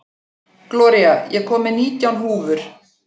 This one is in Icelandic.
Gloría, ég kom með nítján húfur!